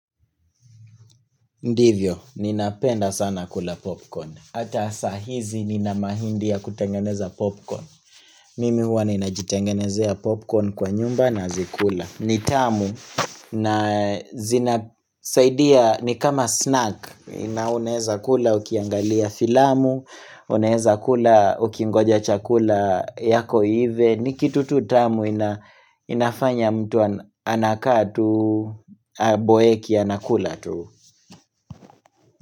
Ndivyo, ninapenda sana kula popcorn. Hata saa hizi nina mahindi ya kutengeneza popcorn. Mimi huwa ninajitengenezea popcorn kwa nyumba nazikula. Ni tamu na zinasaidia ni kama snack. Inauneza kula ukiangalia filamu, unaweza kula ukingoja chakula yako iive. Ni kitu tu tamu ina inafanya mtu anakaa tu boeki anakula tu.